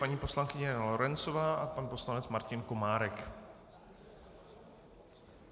Paní poslankyně Lorencová a pan poslanec Martin Komárek.